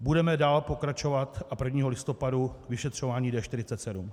Budeme dál pokračovat a 1. listopadu vyšetřování D47.